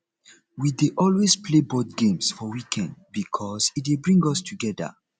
we dey always play board games for weekend bikos e dey bring us togeda